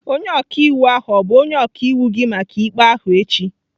Onye ọka iwu ahụ ọ bụ onye ọka iwu gị maka ikpe ahụ echi?